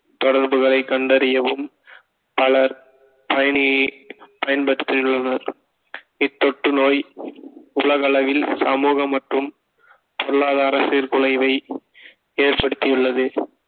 தொடர்புகளை கண்டறியவும் பலர் பயணி பயன்படுத்தியுள்ளனர் இத்தொற்றுநோய் உலக அளவில் சமூகம் மற்றும் பொருளாதார சீர்குலைவை ஏற்படுத்தியுள்ளது